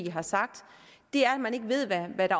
i har sagt er at man ikke ved hvad